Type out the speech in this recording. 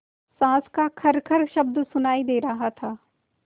साँस का खरखर शब्द सुनाई दे रहा था